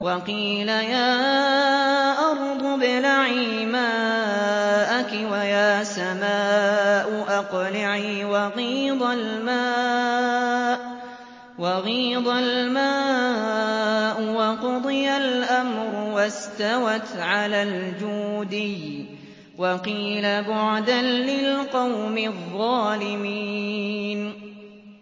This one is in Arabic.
وَقِيلَ يَا أَرْضُ ابْلَعِي مَاءَكِ وَيَا سَمَاءُ أَقْلِعِي وَغِيضَ الْمَاءُ وَقُضِيَ الْأَمْرُ وَاسْتَوَتْ عَلَى الْجُودِيِّ ۖ وَقِيلَ بُعْدًا لِّلْقَوْمِ الظَّالِمِينَ